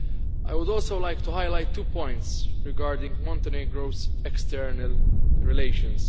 I would also like to highlight two points regarding Montenegro's external relations.